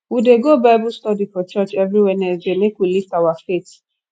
we dey go bible study for church every wednesday make we lift our faith